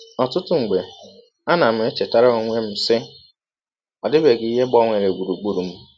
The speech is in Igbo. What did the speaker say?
Ọtụtụ mgbe, anam echetara ọnwe m, sị, ‘ Ọ dịbeghị ihe gbanwere gbụrụgbụrụ m.